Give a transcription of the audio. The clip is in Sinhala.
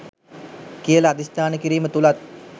කියල අධිෂ්ටාන කිරීම තුලත්